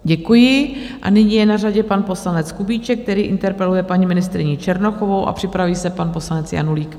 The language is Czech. Děkuji a nyní je na řadě pan poslanec Kubíček, který interpeluje paní ministryni Černochovou, a připraví se pan poslanec Janulík.